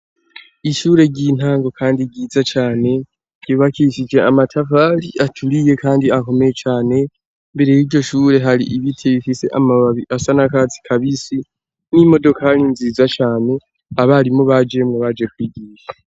Ishure ry'intango kandi ryiza cane ryibakishije amatafari aturiye kandi akomeye cane, imbere y'iryoshure hari ibiti bifise amababi asa n'akatsi kabisi n'imodokari nziza cane abarimu bajemwo baje kwigisha.